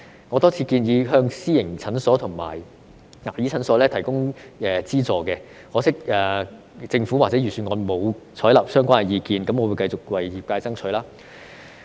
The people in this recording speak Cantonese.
我多次建議向私營診所和牙醫診所提供資助，可惜政府或預算案均沒有採納相關意見，我會繼續為業界爭取。